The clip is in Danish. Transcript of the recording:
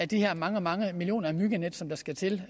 de her mange mange millioner myggenet som der skal til